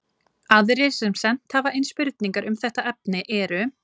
Aðrir sem sent hafa inn spurningar um þetta efni eru: